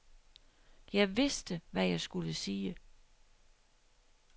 Jeg vidste, hvad jeg skulle sige.